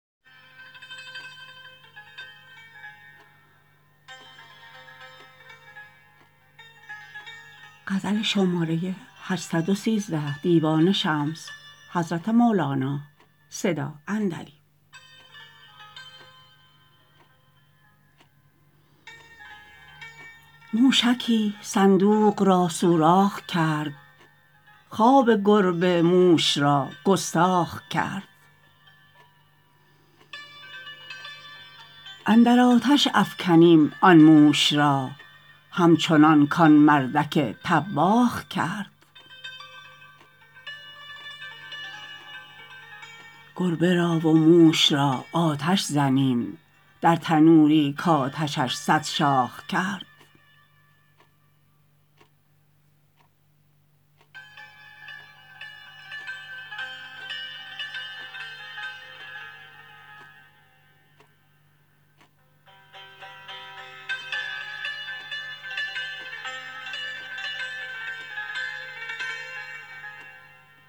موشکی صندوق را سوراخ کرد خواب گربه موش را گستاخ کرد اندر آتش افکنیم آن موش را همچنان کان مردک طباخ کرد گربه را و موش را آتش زنیم در تنوری کآتشش صد شاخ کرد